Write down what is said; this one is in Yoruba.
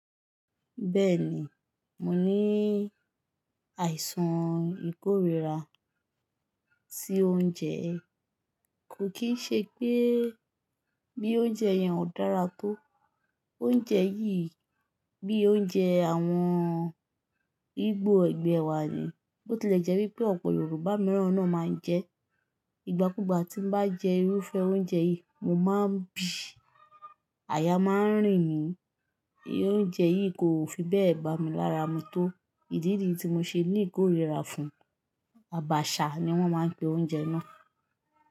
Bẹ́ẹ̀ ni, mo ní àìsàn ìkórìíra sí oúnjẹ, kò kí ṣe pé bí oúnjẹ yẹn ò dára tó. Oúnjẹ yìí bí i oúnjẹ àwọn Ìgbò ẹgbẹ́ wà ni, bó tilẹ̀ jẹ́ wípé ọ̀pọ̀ Yorùbá mìíràn náà máa ń jẹ ẹ́. Ìgbà kúùgbà tí n bá jẹ irúfẹ́ oúnjẹ yìí, mo máa ń bì, àyà máa ń rìn mí, oúnjẹ yìí kò fi bẹ́ẹ̀ bà mí lára mu tó. Ìdí nìyí tí mo ṣe ní ìkórìíra fún, abaṣha ni wọ́n máa ń pe oúnjẹ náà.